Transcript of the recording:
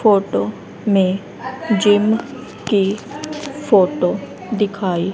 photo में gym की photo दिखाई--